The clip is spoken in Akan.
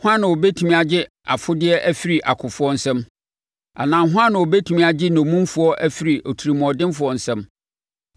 Hwan na ɔbɛtumi agye afodeɛ afiri akofoɔ nsam; anaa hwan na ɔbɛtumi agye nnommumfoɔ afiri otirimuɔdenfoɔ nsam?